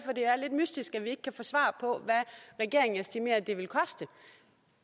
mystisk at vi ikke kan få svar på hvad regeringen estimerer det vil koste